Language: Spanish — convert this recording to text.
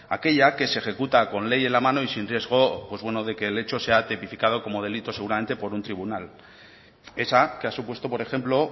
aquella que se ejecuta con ley en la mano y sin riesgo de que el hecho sea tipificado como delito seguramente por un tribunal esa ha supuesto por ejemplo